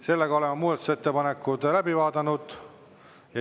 Sellega oleme muudatusettepanekud läbi vaadanud.